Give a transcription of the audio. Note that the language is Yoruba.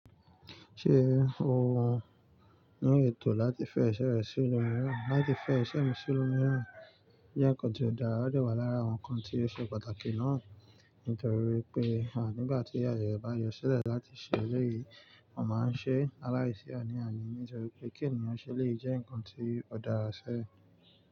Ṣé o wù ú ní ètò láti fẹ́ iṣẹ́ rẹ sí ìnú rírán? Láti fẹ́ iṣẹ́ mú sí ilú miírán jẹ́ ǹkan tí ó dára o dẹ̀ wá lára àwọn ǹkan tí ó ṣe pàtàkì náà. Nítorí wipé à nígbà tí ayẹ rẹ bá yọ sílẹ̀ láti ṣe eléyìí, mọ́ máa ń ṣe laláìsí àní-àní nítorí pé kí ènìyàn ṣe elèyii jẹ́ ǹkan tí ó dára ṣẹ.